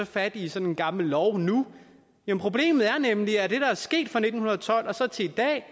fat i sådan en gammel lov nu men problemet er nemlig at det der er sket fra nitten tolv og så til i dag